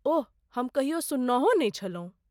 ओह, हम कहियो सुननहों नहि छलहुँ!